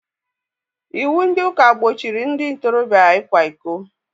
Iwu ndị ụka gbochiri ndị ntoroobịa ịkwa ịkọ